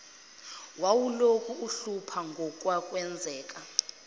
wawulokhu umhlupha ngokwakwenzeke